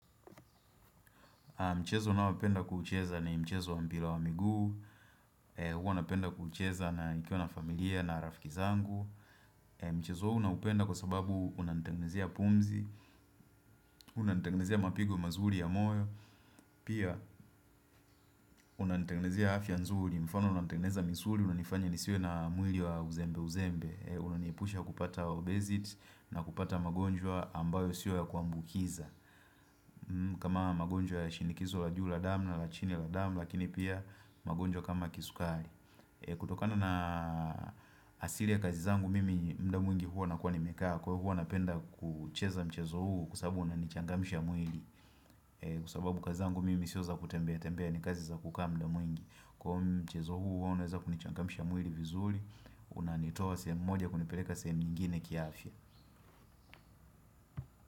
Mchezo ninaopenda kuucheza na mchezo wa mpila wa miguu. Huwa napenda kuucheza nikiwa na familia na rafiki zangu. Mchezo huu na upenda kwa sababu unanitengnezea pumzi. Unantengnezea mapigo mazuri ya moyo. Pia unanitengnezia afya nzuri. Mfano unanitengneza misuri. Unanifanya nisiwe na mwili wa uzembe uzembe. Unaniepusha kupata obezit na kupata magonjwa ambayo sio ya kuambukiza. Kama magonjwa ya shinikizo la juu la dam na la chini la damu. Lakini pia magonjwa kama kisukari kutokana na asili ya kazi zangu mimi mda mwingi huwa nakuwa nimekaa Kwa huo anapenda kucheza mchezo huu kwa sababu unanichangamsha mwili Kwa sababu kazi zangu mimi sio za kutembea tembea ni kazi za kukaa mda mwingi Kwa mchezo huu unaweza kunichangamsha mwili vizuri Unaanitoa sehemu moja kunipeleka sehemu nyingine kiafya.